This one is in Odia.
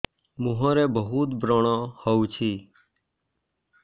ମୁଁହରେ ବହୁତ ବ୍ରଣ ହଉଛି